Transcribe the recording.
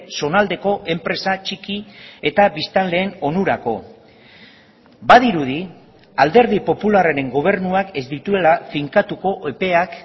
zonaldeko enpresa txiki eta biztanleen onurako badirudi alderdi popularraren gobernuak ez dituela finkatuko epeak